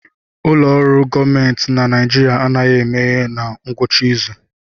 Ụlọ ọrụ gọọmentị na Naijiria anaghị emeghe na ngwụcha izu